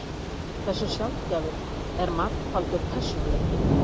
Hversu sjaldgæfur er margfaldur persónuleiki?